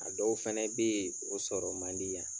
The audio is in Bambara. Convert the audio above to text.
A dɔw fɛnɛ bɛ ye o sɔrɔ man di yan.